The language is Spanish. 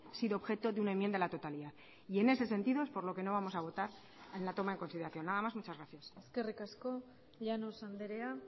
sido objeto de una enmienda a la totalidad y en ese sentido es por lo que no vamos a votar en la toma en consideración nada más muchas gracias eskerrik asko llanos andrea